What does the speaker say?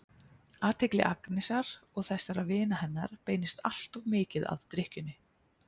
Athygli Agnesar og þessara vina hennar beinist alltof mikið að drykkjunni.